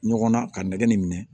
Ɲɔgɔn na ka nɛgɛ nin minɛ